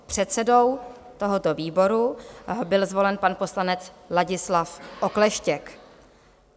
Předsedou tohoto výboru byl zvolen pan poslanec Ladislav Okleštěk.